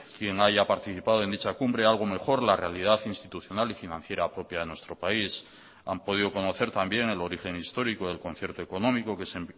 quien haya participado en dicha cumbre algo mejor la realidad institucional y financiera propia de nuestro país han podido conocer también el origen histórico del concierto económico que se